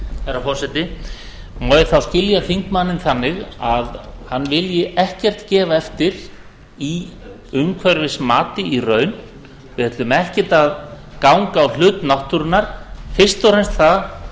herra forseti má ég þá skilja þingmanninn þannig að hann vilji ekkert gefa eftir í umhverfismati í raun við ætlum ekkert að ganga á hlut náttúrunnar fyrst og fremst það